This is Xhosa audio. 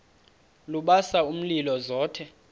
lubasa umlilo zothe